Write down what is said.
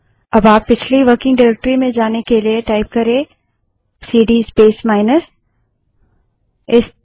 अब आप पिछली वर्किंग डाइरेक्टरी में जाने के लिए प्रोंप्ट में सीडी स्पेस माइनस टाइप कर सकते हैं